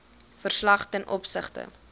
verslag ten opsigte